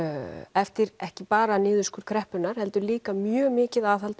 eftir ekki bara niðurskurð kreppunnar heldur líka mjög mikið aðhald